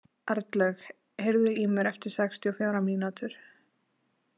Arnlaug, heyrðu í mér eftir sextíu og fjórar mínútur.